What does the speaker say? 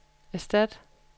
erstat